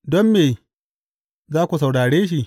Don me za ku saurare shi?